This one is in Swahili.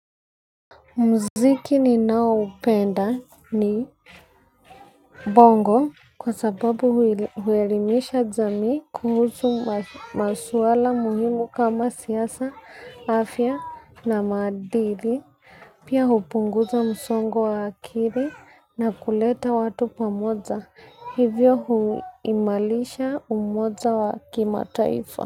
Mziki ninao upenda ni bongo kwa sababu huelimisha jamii kuhusu maswala muhimu kama siasa afya na maadili. Pia hupunguza msongo wa akiri na kuleta watu pamoja hivyo huimarisha umoja wa kimataifa.